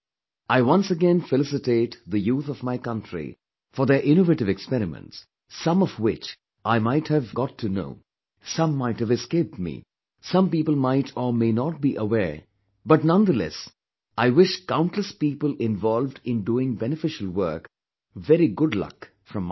I once again felicitate the youth of my country for their innovative experiments, some of which I might have got to know, some might have escaped me, some people might or may not be aware of but nonetheless I wish countless people involved in doing beneficial work ,very good luck from my side